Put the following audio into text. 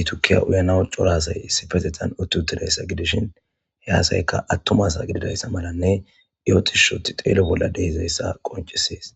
itukiya uyana corasay issi petetan utti uttidayssa gidishin he asayka attumasa gididayssa malanne iyotishshoti xeelo bolla dehizayssa qoncisees.